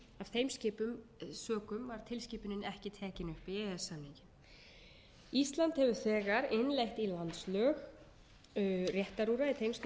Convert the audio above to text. þeim sökum var tilskipunin ekki tekin upp í e e s samninginn ísland hefur þegar innleitt í landslög réttarúrræði